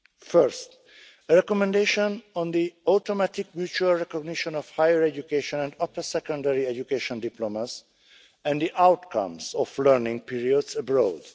First, a recommendation on the automatic mutual recognition of higher education and upper secondary education diplomas and the outcomes of learning periods abroad.